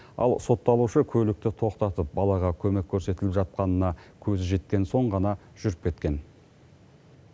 ал сотталушы көлікті тоқтатып балаға көмек көрсетіліп жатқанына көзі жеткен соң ғана жүріп кеткен